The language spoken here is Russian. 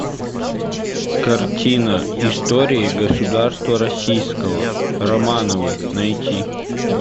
картина история государства российского романовы найти